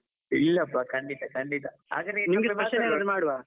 ಇಲ್ಲಪ್ಪ ಖಂಡಿತ ಖಂಡಿತ, ಮಾಡುವ.